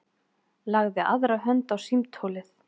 Lagði aðra hönd á símtólið.